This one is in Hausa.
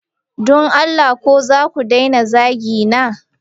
Don Allah ko zaka daina zagina?